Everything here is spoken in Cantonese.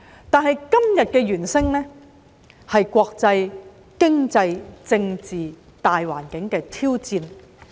但是，今天的"猿聲"是國際、經濟、政治大環境的挑戰。